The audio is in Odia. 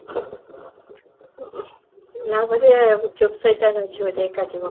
ଲାଗୂଛି ଚୁପ ସୈତାନ ଅଛି ବୋଲି ଏକା ଯିବ